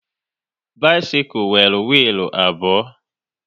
Bisikul nwere wiilu abụọ